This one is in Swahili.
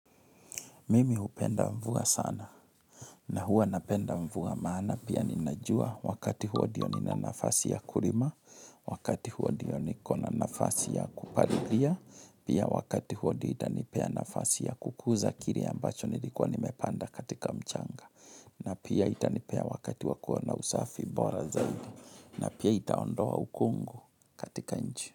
Mimi hupenda mvua sana na huwa napenda mvua maana pia ninajua wakati huo diyo nina nafasi ya kurima, wakati huo ndiyo nikona nafasi ya kuparililia, pia wakati huo ndiyo itanipea nafasi ya kukuza kiri ambacho nilikuwa nimepanda katika mchanga, na pia itanipea wakati wakua na usafi bora zaidi, na pia itaondoa ukungu katika nchi.